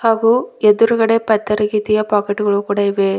ಹಾಗೂ ಎದುರ್ಗಡೆ ಪಾತರಗಿತ್ತಿಯ ಪಾಕೆಟ್ ಗಳು ಕೂಡ ಇವೆ.